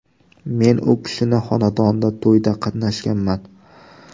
Men u kishinning xonadonida to‘yda qatnashganman.